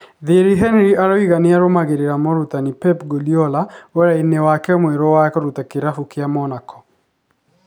Thierry Henry aroiga nĩ arũmagĩrĩra mũrutani Pep Guardiola wĩra-inĩ wake mwerũ wa kũruta kĩrabu kĩa Monaco.